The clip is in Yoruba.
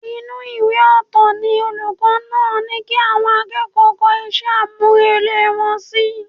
Inú ìwé ọ̀tọ̀ ni olùkọ́ ní kí àwọn akẹ́kọ̀ọ́ kọ iṣẹ́ àmúrelé wọn sí